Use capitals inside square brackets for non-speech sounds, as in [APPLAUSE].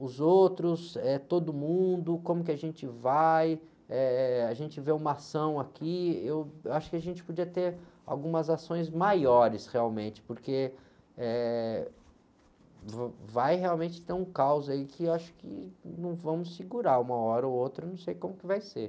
Os outros, eh, todo mundo, como que a gente vai, eh, a gente vê uma ação aqui, eu acho que a gente podia ter algumas ações maiores realmente, porque, eh, [UNINTELLIGIBLE] vai, realmente, ter um caos aí que eu acho que não vamos segurar uma hora ou outra, não sei como que vai ser.